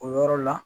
O yɔrɔ la